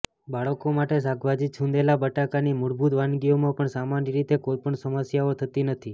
બાળકો માટે શાકભાજી છૂંદેલા બટાકાની મૂળભૂત વાનગીઓમાં પણ સામાન્ય રીતે કોઈ પણ સમસ્યાઓ થતી નથી